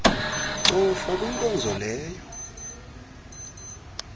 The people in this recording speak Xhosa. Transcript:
cofa kwinkonzo leyo